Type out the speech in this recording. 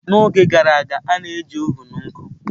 N'oge gara aga, a na-eji ovun nkụ.